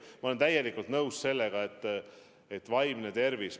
Ma olen täielikult nõus sellega, et vaimne tervis on kannatanud.